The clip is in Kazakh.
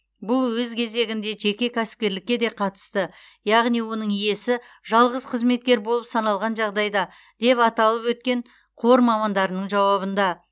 бұл өз кезегінде жеке кәсіпкерлікке де қатысты яғни оның иесі жалғыз қызметкер болып саналған жағдайда деп аталып өткен қор мамандарының жауабында